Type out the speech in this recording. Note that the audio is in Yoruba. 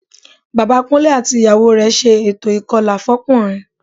Bàbá Kúnlé àti ìyàwó rẹ̀ ṣe ètò ìkọlà fọ́kùnrin